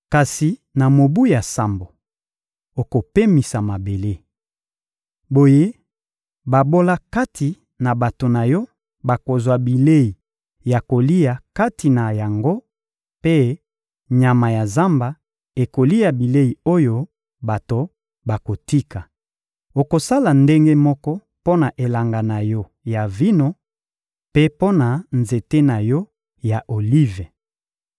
Kasi na mobu ya sambo, okopemisa mabele. Boye babola kati na bato na yo bakozwa bilei ya kolia kati na yango mpe nyama ya zamba ekolia bilei oyo bato bakotika. Okosala ndenge moko mpo na elanga na yo ya vino mpe mpo na nzete na yo ya olive.